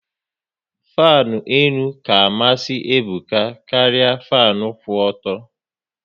Fanu elu ka amasị Ebuka karịa fanu kwụ ọtọ